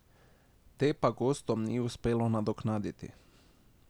Te pa gostom ni uspelo nadoknaditi.